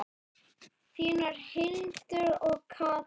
Þínar Hildur og Katla.